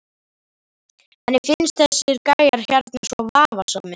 Henni finnst þessir gæjar hérna svo vafasamir.